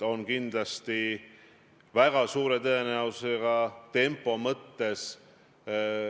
Aga minu küsimus sulle on väga lihtne.